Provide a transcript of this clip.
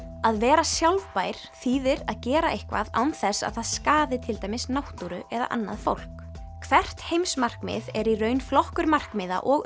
að vera sjálfbær þýðir að gera eitthvað án þess að það skaði til dæmis náttúru eða annað fólk hvert heimsmarkmið er í raun flokkur markmiða og